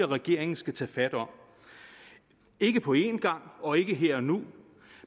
regeringen skal tage fat om ikke på en gang og ikke her og nu